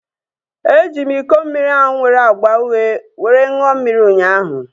E ji m iko mmiri ahu nwere agba uhie were ṅụọ mmiri ụnyaahụ